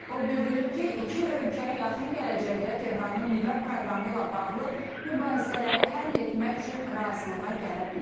O bildirib ki, iki ölkə yaxın gələcəkdə Tehranın nüvə proqramı ilə bağlı mübahisələri həll etmək üçün razılığa gələ bilər.